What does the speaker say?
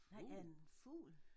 Nej en fugl